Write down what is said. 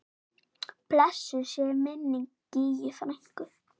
Blessuð sé minning Gígju frænku.